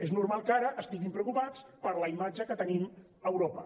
és normal que ara estiguin preocupats per la imatge que tenim a europa